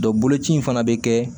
boloci in fana bɛ kɛ